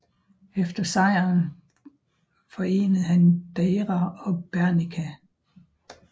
Efter sejren forenede han Deira og Bernicia